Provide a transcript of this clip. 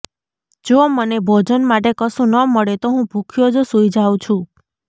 જો મને ભોજન માટે કશું ન મળે તો હું ભૂખ્યો જ સૂઈ જાઉં છું